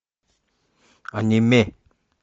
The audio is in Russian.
аниме